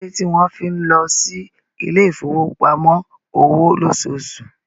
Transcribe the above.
Kí ló dé tí wọ́n fi ń lọ sí ilé ìfowópamọ́ òwò lóṣooṣù?